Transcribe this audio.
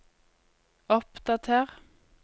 oppdater